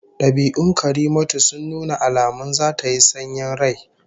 Dabi'un Karimatu sun nuna alamun zata yi sanyin rai